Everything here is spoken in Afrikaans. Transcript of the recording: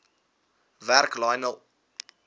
werk lionel